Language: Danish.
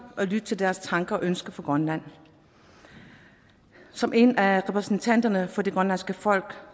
og lytte til deres tanker og ønsker for grønland som en af repræsentanterne for det grønlandske folk